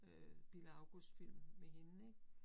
Øh Bille August film med hende ik